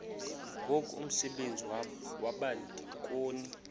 ngoku umsebenzi wabadikoni